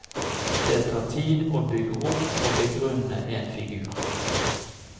Det tar tid å bygge opp og begrunne en figur.